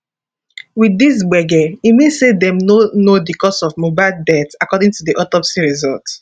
wit dis gbege e mean say dem no know di cause of mohbad death according to di autopsy result